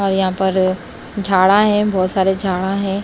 और यहां पर झाड़ा हैं बहुत सारे झाड़ा हैं।